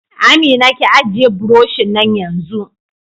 Amina, ki ajiye buroshin nan yanzu!